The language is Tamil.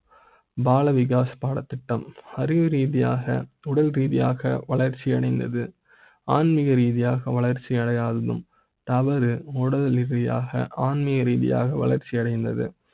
பால விகாஸ் பாடத்திட்ட ம் அறிவு ரீதியாக உடல் ரீதியாக வளர்ச்சி அடைந்தது. ஆன்மிக ரீதியாக வளர்ச்சியடைய ஆகும் தாவர உடலி ரியா ஆன்மீக ரீதியாக வளர்ச்சி அடைந்தது